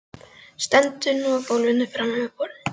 Stendur nú á gólfinu framan við borðið.